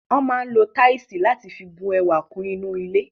Wọ́n máa ń lo táìsì láti fi bu ẹwà kún ilé.